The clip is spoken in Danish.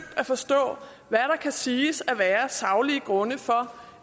at forstå hvad der kan siges at være af saglige grunde for